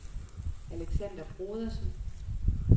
Alexander Brodersen